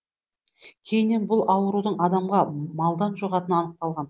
кейіннен бұл аурудың адамға малдан жұғатыны анықталған